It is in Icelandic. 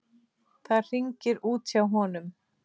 Það hringir út hjá honum.